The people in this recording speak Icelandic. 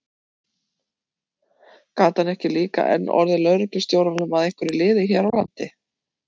Gat hann ekki líka enn orðið lögreglustjóranum að einhverju liði hér á landi?